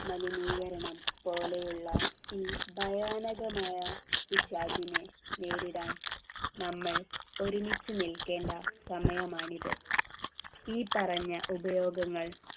മലിനീകരണം പോലെയുള്ള ഈ ഭയാനകമായ പിശാചിനെ നേരിടാൻ നമ്മൾ ഒരുമിച്ച് നിൽക്കേണ്ട സമയമാണിത് ഈ പറഞ്ഞ ഉപയോഗങ്ങൾ